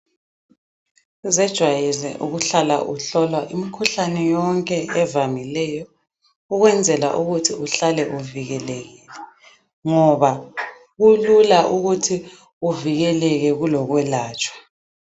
Uzejwayeze ukuhlala uhlolwa imikhuhlane yonke evamileyo ukwenzela ukuze uhlale uvikelekile ngoba kulula ukuthi uvikeleke kulokwelatshwa.